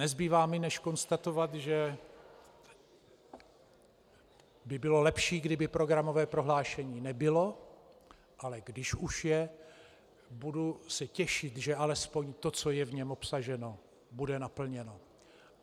Nezbývá mi než konstatovat, že by bylo lepší, kdyby programové prohlášení nebylo, ale když už je, budu se těšit, že alespoň to, co je v něm obsaženo, bude naplněno.